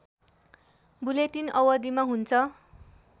bulletin अवधिमा हुन्छ